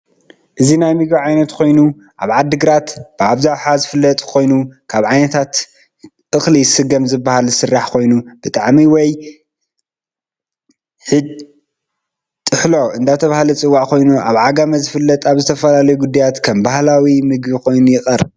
እዚ ናይ ምግቢ ዓይነት ኮይኑ ኣብ ዓዲ ግራት ብኣብዛሓ ዝፍለጥ ኮይኑ ካብ ዓይነት እክሊ ስገም ዝበሃል ዝስራሕ ኮይኑ ብጣዓሚ ወይ ጢሕሎ እዳተበሃለ ዝፅዋዕ ኮይኑ ኣብ ዓጋሚ ዝፍለጥ ኣብ ዝተፈላለዩ ጉዳያት ከም በህላዊ ምግብ ኮይኑ ይቀርብ።